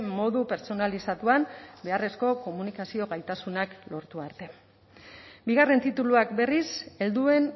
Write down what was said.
modu pertsonalizatuan beharrezko komunikazio gaitasunak lortu arte bigarren tituluak berriz helduen